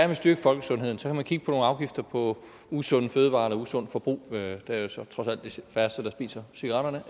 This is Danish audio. vil styrke folkesundheden kan kigge på nogle afgifter på usunde fødevarer eller usundt forbrug det er jo så trods alt de færreste der spiser cigaretterne